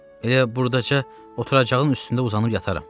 Elə burdaca oturacağın üstündə uzanıb yataram.